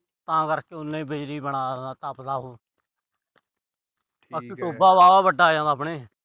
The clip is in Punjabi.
ਤਾਂ ਕਰਕੇ ਉਨਾਂ ਹੀ ਬਿਜਲੀ ਬਿਨਾਂ ਤੱਪਦਾ ਉਹ। ਟੋਬਾ ਵਾਹਲਾ ਵੱਡਾ ਆਪਣੇ।